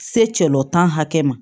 Selɔntan hakɛ ma